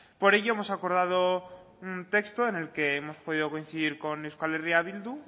por ello hemos acordado un texto en el que hemos podido coincidir con euskal herria bildu